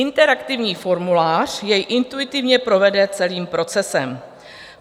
Interaktivní formulář jej intuitivně provede celým procesem.